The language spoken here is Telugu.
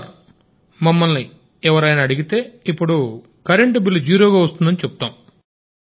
సార్ మమ్మల్ని ఎవరైనా అడిగితే ఇప్పుడు కరెంటు బిల్లు జీరోగా వస్తోందని చెప్తాం